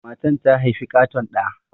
Matan ta haifi ƙaton ɗa.